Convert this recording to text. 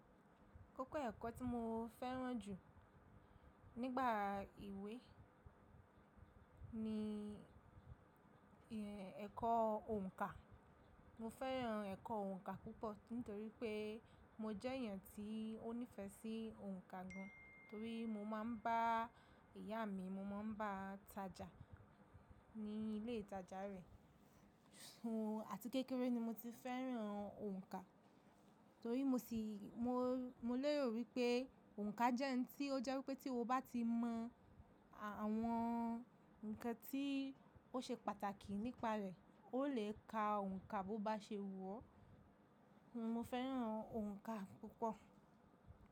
Kókó ẹ̀kọ́ tí mo fẹ́ràn jù nígbà ìwé ni ẹ̀kọ́ òǹkà. Mo fẹ́ràn ẹ̀kọ́ òǹkà púpọ̀ nítorí pé mo jẹ́ èèyàn tí ó nífẹ̀ẹ́ sí òǹkà gan, torí mo máa ń bá ìyá mi, mo máa ń bá tajà ní ilé ìtajà rẹ. Àti kékeré ni mo ti fẹ́ràn òǹkà torí mo sì, mo, mo lérò wípé òǹkà jẹ́ ohun tí ó jẹ́ wípé tí o bá ti mọ àwọn ǹkan tí ó ṣe pàtàkì nípa rẹ̀, o lè ka òǹkà bó bá ṣe wù ọ́. Mo fẹ́ràn òǹkà púpọ̀